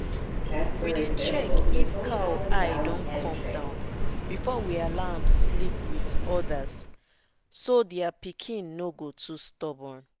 we dey check if cow eye come down before we allow am sleep with others so their pikin no go too stubborn.